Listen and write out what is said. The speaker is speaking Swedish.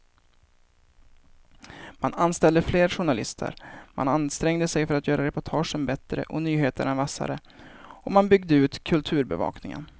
Man anställde fler journalister, man ansträngde sig att göra reportagen bättre och nyheterna vassare och man byggde ut kulturbevakningen.